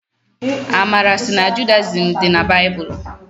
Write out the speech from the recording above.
Amara sị na Judayizim dị na baịbụlụ.